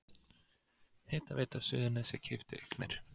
Hitaveita Suðurnesja keypti eignir